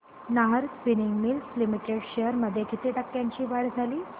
Nahar spinning mills limited shares मध्ये किती टक्क्यांची वाढ झाली